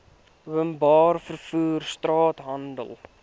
openbare vervoer straathandel